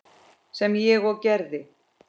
Sem ég og gerði.